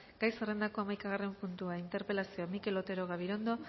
gai zerrendako hamaikagarren puntua interpelazioa mikel otero gabirondo